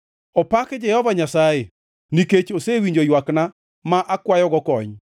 Opak Jehova Nyasaye nikech osewinjo ywakna ma akwayogo kony.